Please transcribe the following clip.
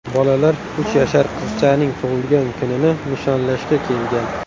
Bolalar uch yashar qizchaning tug‘ilgan kunini nishonlashga kelgan.